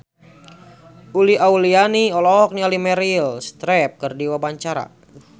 Uli Auliani olohok ningali Meryl Streep keur diwawancara